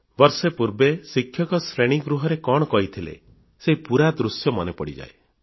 ବର୍ଷେ ପୂର୍ବେ ଶିକ୍ଷକ ଶ୍ରେଣୀଗୃହରେ କଣ କହିଥିଲେ ସେହି ପୁରା ଦୃଶ୍ୟ ମନେପଡ଼ିଯାଏ